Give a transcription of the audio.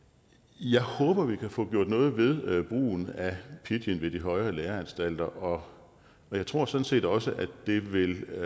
jeg håber vi kan få gjort noget ved brugen af pidgin ved de højere læreanstalter og jeg tror sådan set også at det vil